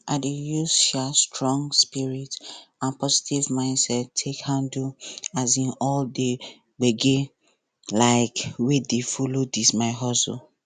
i dey use um strong spirit and positive mind take handle um all the gbege um wey follow this my hustle